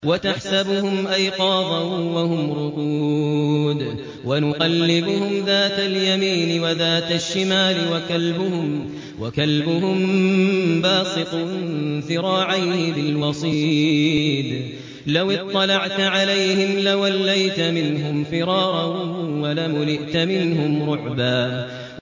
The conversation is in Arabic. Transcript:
وَتَحْسَبُهُمْ أَيْقَاظًا وَهُمْ رُقُودٌ ۚ وَنُقَلِّبُهُمْ ذَاتَ الْيَمِينِ وَذَاتَ الشِّمَالِ ۖ وَكَلْبُهُم بَاسِطٌ ذِرَاعَيْهِ بِالْوَصِيدِ ۚ لَوِ اطَّلَعْتَ عَلَيْهِمْ لَوَلَّيْتَ مِنْهُمْ فِرَارًا وَلَمُلِئْتَ مِنْهُمْ رُعْبًا